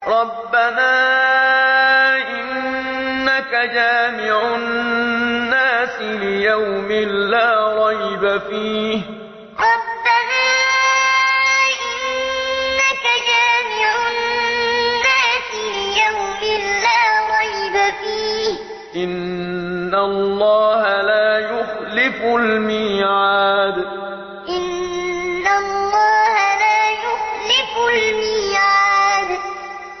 رَبَّنَا إِنَّكَ جَامِعُ النَّاسِ لِيَوْمٍ لَّا رَيْبَ فِيهِ ۚ إِنَّ اللَّهَ لَا يُخْلِفُ الْمِيعَادَ رَبَّنَا إِنَّكَ جَامِعُ النَّاسِ لِيَوْمٍ لَّا رَيْبَ فِيهِ ۚ إِنَّ اللَّهَ لَا يُخْلِفُ الْمِيعَادَ